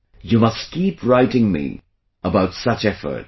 You must keep writing me about such efforts